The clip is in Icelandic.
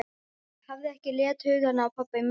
Ég hafði ekki leitt hugann að pabba í mörg ár.